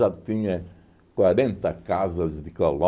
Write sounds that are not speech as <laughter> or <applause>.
Já tinha quarenta casas de. <unintelligible>